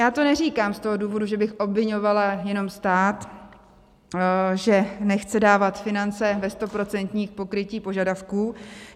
Já to neříkám z toho důvodu, že bych obviňovala jenom stát, že nechce dávat finance ve stoprocentním pokrytí požadavků.